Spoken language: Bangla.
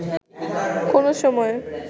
কোন সময়